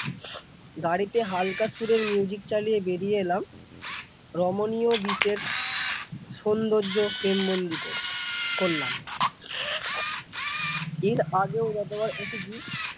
গাড়িতে হালকা সুরের music চালিয়ে বেরিয়ে এলাম রমণীয় বিশ্বের সৌন্দর্য frame বন্দি কর করলাম এর আগেও যতবার এসেছি ।